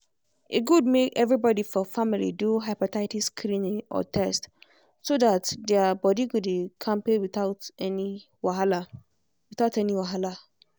e good make everybody for family do hepatitis screening or test so that their body go dey kampe without any wahala. without any wahala.